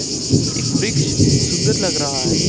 एक वृक्ष सुंदर लग रहा है।